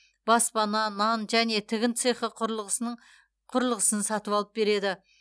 баспана нан және тігін цехы құрылғысының құрылғысын сатып алып береді